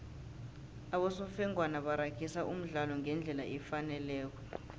abosofengwana baragisa umdlalo ngendlela efaneleko